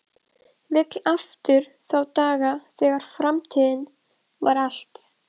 Vill aftur þá daga þegar framtíðin var allt.